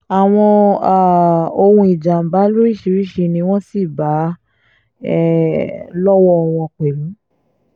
àwọn um ohun ìjàm̀bá lóríṣiríṣi ni wọ́n sì bá um lọ́wọ́ wọn pẹ̀lú